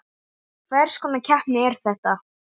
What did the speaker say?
Hvers konar keppni er þetta?